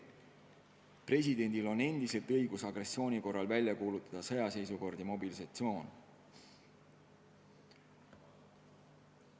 Presidendil on endiselt õigus agressiooni korral välja kuulutada sõjaseisukord ja mobilisatsioon.